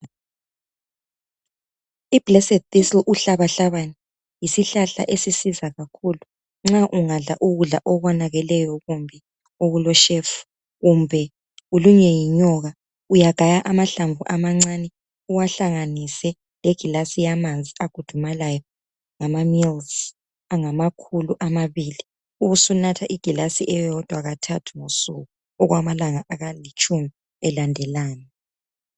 uhlabahlabane yisihlahla esisiza kakhulu nxa ungadla ukudla okonakele kumbe okuleshefu kumbe ulunywe yinyoka uyagaya amahlamvu amancane uwahlanganise legilasi yamanzi agudumalayo ngama milizi angamakhulu amabili ubusunatha igilasi elodwa kathathu ngosuku okwamalanga alitshumi elandelana